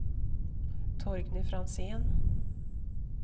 Torgny Franzén